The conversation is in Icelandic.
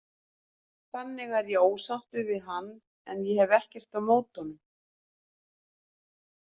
Þannig er ég ósáttur við hann en ég hef ekkert á móti honum.